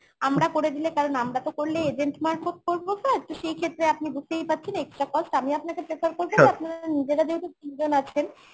আমরা করে দিলে কারণ আমরা তো করলে agent মারফত করবো sir তো সেই ক্ষেত্রে আপনি বুঝতেই পারছেন extra cost আমি আপনাকে prefer করবেন আপনারা নিজেরা যেহেতু তিনজন আছেন